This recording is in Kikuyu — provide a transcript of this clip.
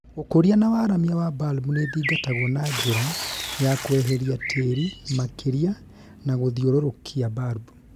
Ũkũria na waramia wa balbu nĩthingatagwo na njĩra ya kweheria tĩri makĩria na gũthiũrũrũkia balbu